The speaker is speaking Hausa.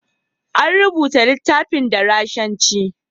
An rubuta littafin da Rashanci.